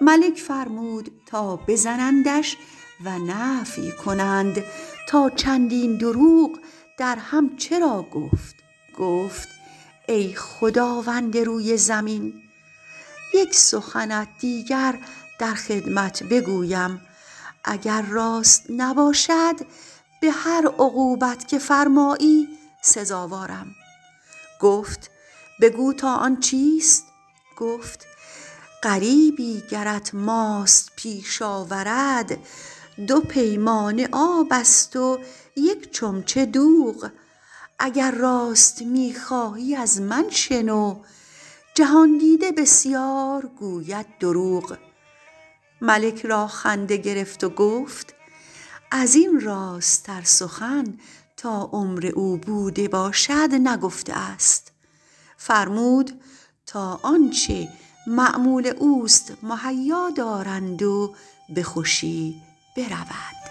ملک فرمود تا بزنندش و نفی کنند تا چندین دروغ درهم چرا گفت گفت ای خداوند روی زمین یک سخنت دیگر در خدمت بگویم اگر راست نباشد به هر عقوبت که فرمایی سزاوارم گفت بگو تا آن چیست گفت غریبی گرت ماست پیش آورد دو پیمانه آب است و یک چمچه دوغ اگر راست می خواهی از من شنو جهان دیده بسیار گوید دروغ ملک را خنده گرفت و گفت از این راست تر سخن تا عمر او بوده باشد نگفته است فرمود تا آنچه مأمول اوست مهیا دارند و به خوشی برود